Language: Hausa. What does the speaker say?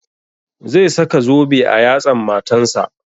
Zai saka zobe a yatsan matan sa